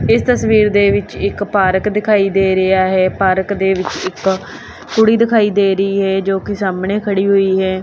ਇਸ ਤਸਵੀਰ ਦੇ ਵਿੱਚ ਇੱਕ ਪਾਰਕ ਦਿਖਾਈ ਦੇ ਰਿਹਾ ਹੈ ਪਾਰਕ ਦੇ ਵਿੱਚ ਇੱਕ ਕੁੜੀ ਦਿਖਾਈ ਦੇ ਰਹੀ ਹੈ ਜੋ ਕਿ ਸਾਹਮਣੇ ਖੜੀ ਹੋਈ ਹੈ।